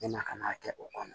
Na ka n'a kɛ o kɔnɔ